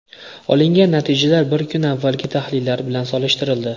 Olingan natijalar bir kun avvalgi tahlillar bilan solishtirildi.